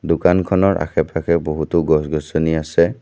দোকানখনৰ আশে পাশে বহুতো গছ গছনি আছে।